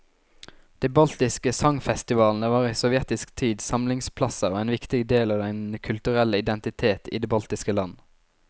De baltiske sangfestivalene var i sovjetisk tid samlingsplasser og en viktig del av den kulturelle identitet i de baltiske land.